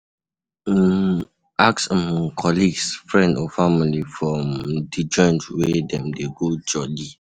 um Ask um colleague, friends or family for um di joints wey dem dey go jolli